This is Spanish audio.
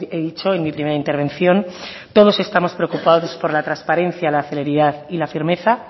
he dicho en mi primera intervención todos estamos preocupados por la transparencia la celeridad y la firmeza